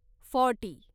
forty